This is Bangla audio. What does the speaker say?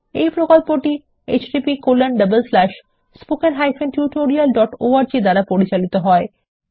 এই প্রকল্পটি httpspoken tutorialorg দ্বারা পরিচালিত হয়